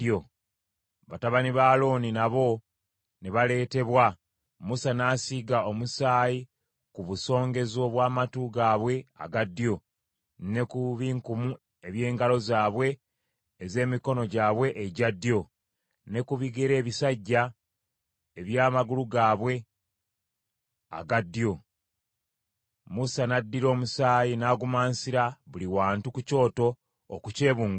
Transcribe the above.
Batabani ba Alooni nabo ne baleetebwa, Musa n’asiiga omusaayi ku busongezo bw’amatu gaabwe aga ddyo, ne ku binkumu eby’engalo zaabwe ez’emikono gyabwe egya ddyo, ne ku bigere ebisajja eby’amagulu gaabwe aga ddyo. Musa n’addira omusaayi n’agumansira buli wantu ku kyoto okukyebungulula.